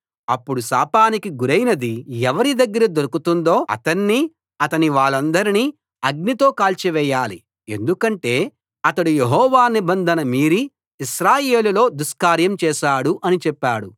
అప్పుడు శాపానికి గురైనది ఎవరి దగ్గర దొరుకుతుందో అతన్నీ అతని వాళ్ళందరినీ అగ్నితో కాల్చివేయాలి ఎందుకంటే అతడు యెహోవా నిబంధన మీరి ఇశ్రాయేలులో దుష్కార్యం చేశాడు అని చెప్పాడు